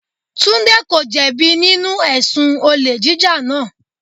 Tunde ko jẹ bi nínú ẹ̀sùn olè jíjà náà.